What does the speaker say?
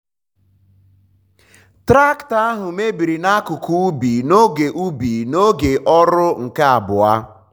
traktọ ahụ mebiri n'akụkụ ubi n'oge ubi n'oge ọrụ nke abụọ.